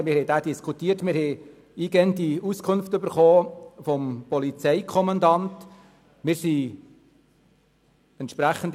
Er wurde diskutiert, und die Kommission erhielt vom Polizeikommandanten eingehende Auskünfte.